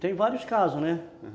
Tem vários casos, né?